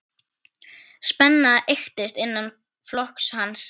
Spenna eykst innan flokks hans.